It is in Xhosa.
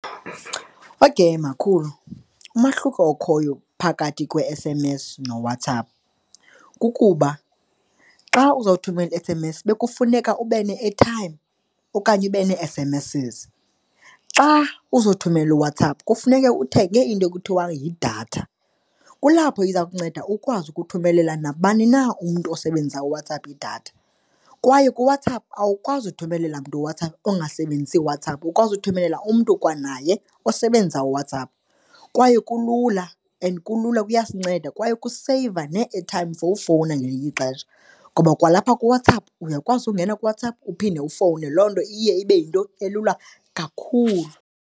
Okay, makhulu, umahluko okhoyo phakathi kwe-S_M_S noWhatsApp kukuba xa uzawuthumela i-S_M_S bekufuneka ube ne-airtime okanye ube nee-S_M_Ss. Xa uzawuthumela uWhatsApp kufuneka uthenge into ekuthiwa yidatha. Kulapho iza kunceda ukwazi ukuthumelela nabani na umntu osebenzisa uWhatsApp idatha kwaye uWhatsApp awukwazi uthumelela umntu uWhatsApp ongasebenzisi uWhatsApp. Ukwazi ukuthumelela umntu kwanaye osebenzisa uWhatsApp. Kwaye kulula and kulula, kuyasinceda kwaye ukuseyiva nee-airtime for ukufowuna ngelinye ixesha. Ngoba kwalapha kuWhatsApp uyakwazi ukungena kuWhatsApp uphinde ufowune, loo nto iye ibe yinto elula kakhulu.